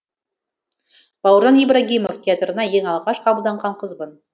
бауыржан ибрагимов театрына ең алғаш қабылданған қызбын